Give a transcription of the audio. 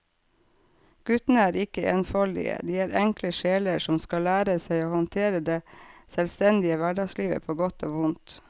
Guttene er ikke enfoldige, de er enkle sjeler som skal lære seg å håndtere det selvstendige hverdagslivet på godt og vondt.